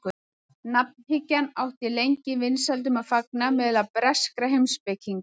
nafnhyggjan átti lengi vinsældum að fagna meðal breskra heimspekinga